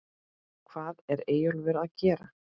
HVAÐ ER EYJÓLFUR AÐ GERA????